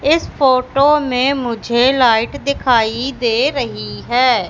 इस फोटो में मुझे लाइट दिखाई दे रही है।